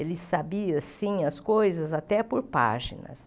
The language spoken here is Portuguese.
Ele sabia, assim, as coisas, até por páginas.